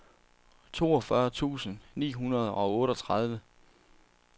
toogfyrre tusind ni hundrede og otteogtredive